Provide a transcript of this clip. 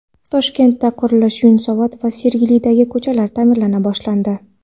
Toshkentda qurilish: Yunusobod va Sergelidagi ko‘chalar ta’mirlana boshlandi.